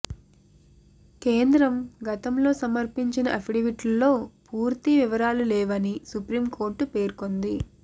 కేంద్రం గతంలో సమర్పించిన అఫిడవిట్లో పూర్తి వివరాలు లేవని సుప్రీంకోర్టు పేర్కొంది